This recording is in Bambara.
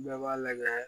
Bɛɛ b'a lajɛ